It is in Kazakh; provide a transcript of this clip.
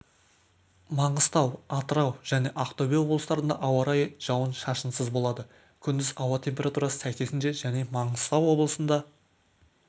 маңғыстау атырау және ақтөбе облыстарында ауа райы жауын-шашынсыз болады күндіз ауа температурасы сәйкесінше және маңғыстау облысында